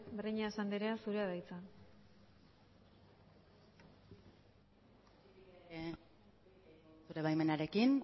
breñas andrea zurea da hitza zure baimenarekin